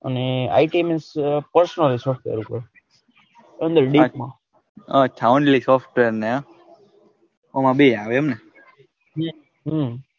અને IT means એટલે deep માં અચ્છા only software ને આમ બે આવે એમ ને,